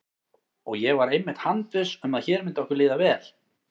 Og ég var einmitt handviss um að hér myndi okkur líða vel.